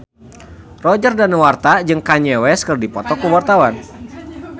Roger Danuarta jeung Kanye West keur dipoto ku wartawan